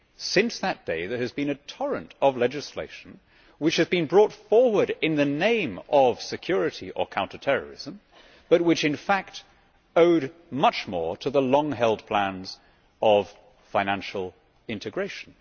Since that day, there has been a torrent of legislation which has been brought forward in the name of security or counter terrorism, but which in fact owed much more to the long held plans of financial integration.